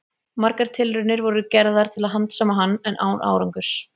Margar tilraunir voru gerðar til að handsama hann, en án árangurs.